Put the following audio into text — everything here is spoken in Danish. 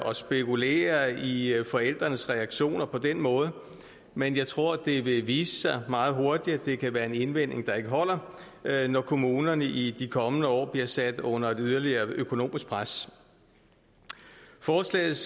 at spekulere i i forældrenes reaktioner på den måde men jeg tror det vil vise sig meget hurtigt at det kan være en indvending der ikke holder når kommunerne i de kommende år bliver sat under et yderligere økonomisk pres forslagets